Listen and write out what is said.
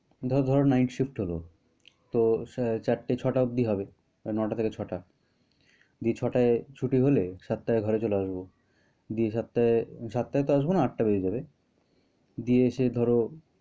ধর~ধরো night shift হলো। তো চারটে ছটা অব্দি হবে। নয়টা থেকে ছয়টা। ছয়টায় ছুটি হলে সাতটায় ঘরে চলে আসবো। দিয়ে সাতটায়~ সাতটা তো হবে না আটটা বেজে যাবে। দিয়ে এসে ধরো